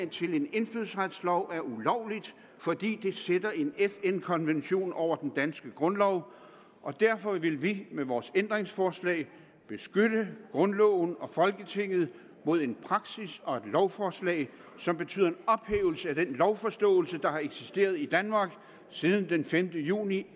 til en indfødsretslov er ulovligt fordi det sætter en fn konvention over den danske grundlov og derfor vil vi med vores ændringsforslag beskytte grundloven og folketinget mod en praksis og et lovforslag som betyder en ophævelse af den lovforståelse der har eksisteret i danmark siden den femte juni